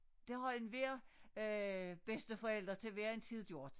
Det har enhver øh bedsteforælder til hver en tid gjort